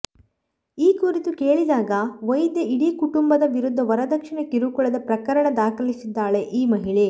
ಈ ಕುರಿತು ಕೇಳಿದಾಗ ವೈದ್ಯೆ ಇಡೀ ಕುಟುಂಬದ ವಿರುದ್ದ ವರದಕ್ಷಿಣೆ ಕಿರುಕುಳದ ಪ್ರಕರಣ ದಾಖಲಿಸಿದ್ದಾಳೆ ಈ ಮಹಿಳೆ